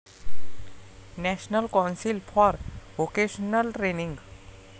national council for vocational training